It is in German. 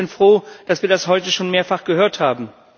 Ich bin froh, dass wir das heute schon mehrfach gehört haben.